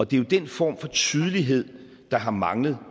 det er den form for tydelighed der har manglet